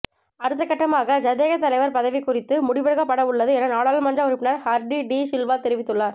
அடுத்தகட்டமாக ஐதேக தலைவர் பதவி குறித்து முடிவெடுக்கப்படவுள்ளது என நாடாளுமன்ற உறுப்பினர் ஹர்டி டி சில்வா தெரிவித்துள்ளார்